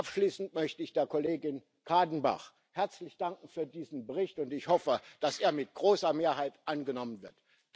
Abschließend möchte ich der Kollegin Kadenbach herzlich für diesen Bericht danken, und ich hoffe, dass er mit großer Mehrheit angenommen wird.